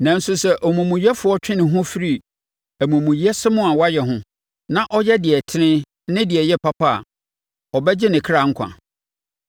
Nanso sɛ omumuyɛfoɔ twe ne ho firi amumuyɛsɛm a wayɛ ho, na ɔyɛ deɛ ɛtene ne deɛ ɛyɛ papa a, ɔbɛgye ne kra nkwa.